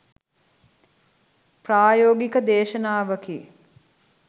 ප්‍රායෝගික දේශනාවකි